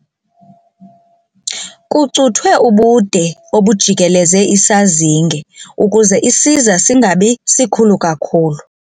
Kucuthwe ubude obujikeleze isazinge ukuze isiza singabi sikhulu kakhulu.